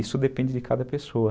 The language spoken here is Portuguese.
Isso depende de cada pessoa.